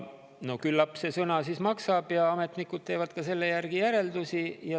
Küllap see sõna siis maksab ja ametnikud teevad sellest järeldusi.